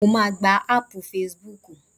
Mo máà gba áàpù facebook.